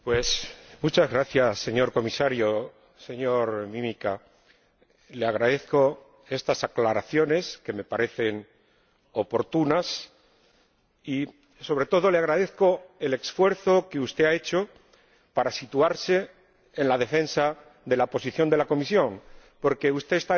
Señor Comisario, señor Mimica, le agradezco estas aclaraciones, que me parecen oportunas, y, sobre todo, le agradezco el esfuerzo que usted ha hecho para situarse en defensa de la posición de la Comisión, porque usted está en franca desventaja.